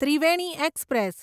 Triveni express